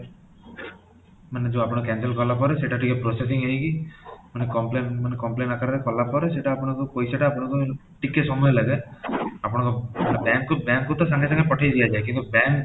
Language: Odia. ମାନେ ଆପଣ cancel କଲା ପରେ ସେଇଟା ଟିକେ processing ହେଇକି ମାନେ complain ମାନେ complain ଆକାରରେ କଲା ପରେ ସେଇଟା ଆପଣଙ୍କ ପଇସେଟା ଆପଣଙ୍କ ମାନେ ଟିକେ ସମୟ ଲାଗେ, ଆପଣଙ୍କ bank କୁ bank କୁ ତ ସାଙ୍ଗେ ସାଙ୍ଗେ ପଠେଇ ଦିଆଯାଏ କିନ୍ତୁ bank